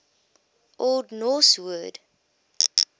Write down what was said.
old norse word